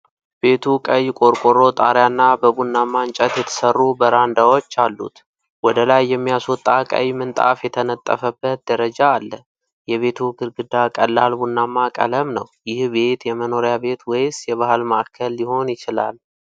ቤቱ ቀይ ቆርቆሮ ጣሪያ እና በቡናማ እንጨት የተሰሩ በራንዳዎች አሉት። ወደ ላይ የሚያስወጣ ቀይ ምንጣፍ የተነጠፈበት ደረጃ አለ፤ የቤቱ ግድግዳ ቀላል ቡናማ ቀለም ነው። ይህ ቤት የመኖሪያ ቤት ወይስ የባህል ማዕከል ሊሆን ይችላል?